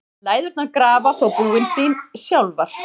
Læðurnar grafa þó búin sín sjálfar.